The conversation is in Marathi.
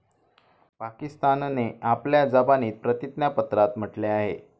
पाकिस्तानने आपल्या जबानीत प्रतिज्ञापत्रात म्हटले आहे.